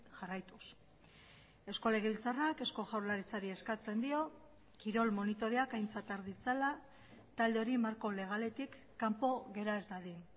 jarraituz eusko legebiltzarrak eusko jaurlaritzari eskatzen dio kirol monitoreak aintzat har ditzala talde hori marko legaletik kanpo gera ez dadin